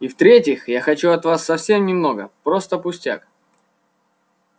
и в третьих я хочу от вас совсем немного просто пустяк